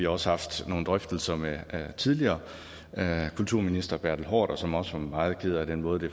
også haft nogle drøftelser med tidligere kulturminister herre bertel haarder som også var meget ked af den måde det